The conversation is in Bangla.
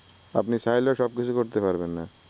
আপনি চাইলেও সব কিছু করতে পারবেন না ।